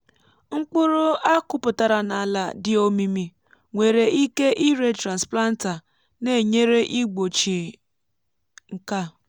mkpụrụ a kụpụtara n’ala dị omimi nwere ike ire transplanter na-enyere igbochie nke a.